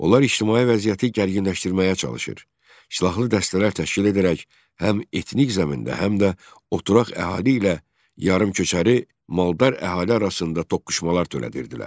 Onlar ictimai vəziyyəti gərginləşdirməyə çalışır, silahlı dəstələr təşkil edərək həm etnik zəmində, həm də oturaq əhali ilə yarımköçəri maldar əhali arasında toqquşmalar törədirdilər.